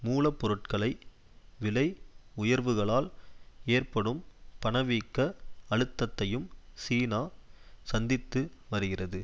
மூல பொருட்களை விலை உயர்வுகளால் ஏற்படும் பணவீக்க அழுத்தத்தையும் சீனா சந்தித்து வருகிறது